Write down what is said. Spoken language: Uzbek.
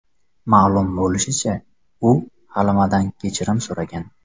Ma’lum bo‘lishicha, u Halimadan kechirim so‘ragan.